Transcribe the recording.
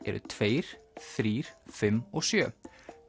eru tveir þrjú fimm og sjöundi